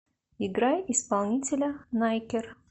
играй исполнителя найкер